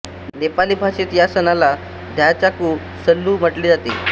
नेपाली भाषेत या सणाला घ्यःचाकु संल्हु म्हटले जाते